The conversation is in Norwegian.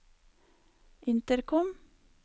intercom